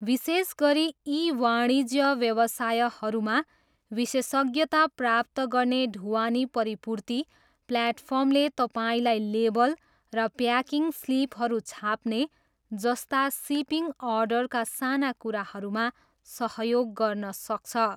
विशेष गरी ई वाणिज्य व्यवसायहरूमा विशेषज्ञता प्राप्त गर्ने ढुवानी परिपूर्ति प्लेटफर्मले तपाईँलाई लेबल र प्याकिङ स्लिपहरू छाप्ने जस्ता सिपिङ अर्डरका साना कुराहरूमा सहयोग गर्न सक्छ।